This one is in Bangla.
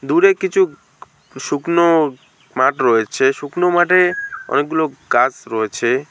দূরে কিছু শুকনো মাঠ রয়েছে শুকনো মাঠে অনেকগুলো গাস রয়েছে।